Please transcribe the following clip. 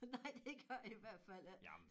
Nej det gør i hvert fald ikke